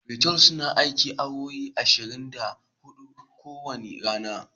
Otal suna aiki awowi ashirin da hudu ko wanda rana.